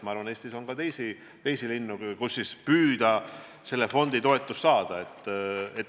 Ma arvan, et Eestis on ka teisi linnu, kus oleks võimalik püüda sellest fondist toetust saada.